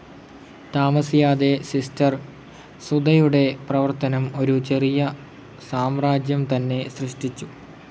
താമസിയാതെ സിസ്റ്റർ സുധയുടെ പ്രവർത്തനം ഒരു ചെറിയ സാമ്രാജ്യം തന്നെ സൃഷ്ടിച്ചു.